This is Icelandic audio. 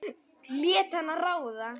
Hann lét hana ráða.